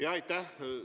Jaa, aitäh!